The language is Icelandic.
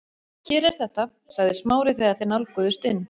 Hér er þetta- sagði Smári þegar þeir nálguðust inn